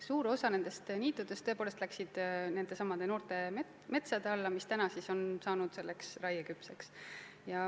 Suur osa niitudest on tõepoolest läinud noorte metsade alla, mis nüüd on saanud raieküpseks.